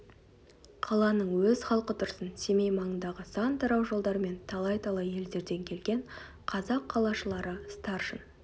қаланың өз халқы тұрсын семей маңындағы сан тарау жолдар мен талай-талай елдерден келген қазақ қалашылары старшын